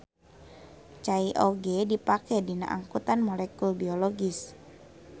Cai oge dipake dina angkutan molekul biologis.